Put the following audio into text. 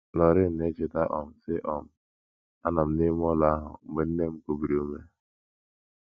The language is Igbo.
Loraine na - echeta um, sị: um “ Anọ m n’ime ụlọ ahụ mgbe nne m kubiri ume.